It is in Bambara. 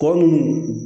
Tɔ ninnu